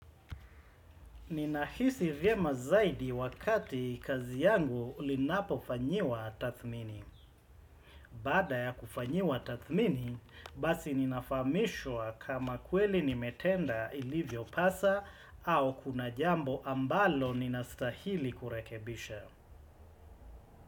Ninahisi vyema zaidi wakati kazi yangu linapofanyiwa tathmini. Baada ya kufanyiwa tathmini, basi ninafahamishwa kama kweli nimetenda ilivyopasa au kuna jambo ambalo ninastahili kurekebisha.